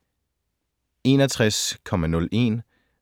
61.01